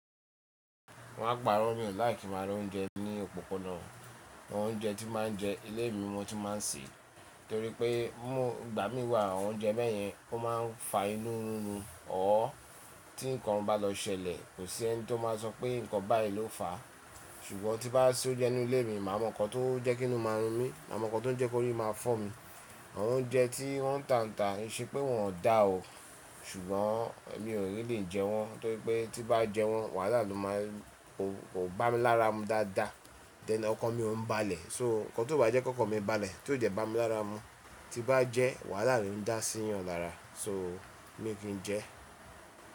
Ki máa pa ro mi láìki kí maa ra oúnjẹ ní òpópónà. Àwọn oúnjẹ tí máa ń jẹ ilé mi mo tin máa ń sè é. Nítorí pé mọ́ ìgbà mí wà, àwọn oúnjẹ bẹ́yẹn ó máa ń fa inú rírun ọ. Ó, tí nǹkan bá lọ ṣẹlẹ̀, kò sí ẹni tó máa sọ pé nǹkan báyìí ló fà á. Ṣùgbọ́n tí bá se ó jẹ́ inú ilé mi, màá mọ nǹkan tó jẹ́ kún inú máa run mí, màá mọ nǹkan tó jẹ́ kó rí máa fọ́ mi. Àwọn oúnjẹ tí wọ́n tàǹtà, ìṣe pé wọn ò dá o, ṣùgbọ́n mi ò ní lè jẹ́ wọn. Nítorí pé tí bá jẹ́ wọn, wàhálà ló máa ń, kò bá mi lára mu dáadáa. Dẹn ọkan mi o ń balẹ̀. So nǹkan tó bá jẹ́ kó ọkọ mi balẹ̀, tí ò dẹ́ bá mi lára mu, tí bá jẹ́ wàhálà lo ń dá sí yan lára. So mí kí jẹ́.